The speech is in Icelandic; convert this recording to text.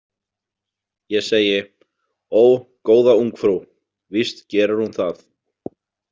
Ég segi: Ó, góða ungfrú, víst gerir hún það.